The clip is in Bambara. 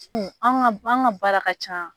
An ka an ka baara ka ca.